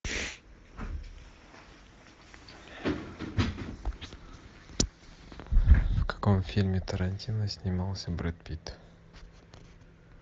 в каком фильме тарантино снимался брэд питт